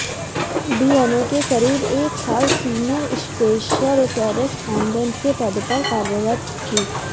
DNA में करीब एक साल सीनियर स्पेशल करेस्पाँडेंट के पद पर कार्यरत थी